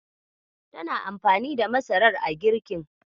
Tana anfani da masarar a girkin.